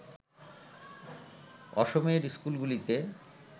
অসমের স্কুলগুলিতে